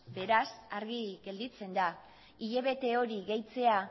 beraz argi gelditzen da hilabete hori gehitzea